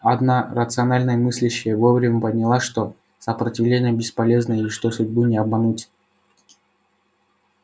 одна рационально мыслящая вовремя поняла что сопротивление бесполезно и что судьбу не обмануть